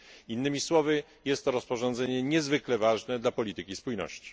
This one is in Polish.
Jednymi słowy jest to rozporządzenie niezwykle ważne dla polityki spójności.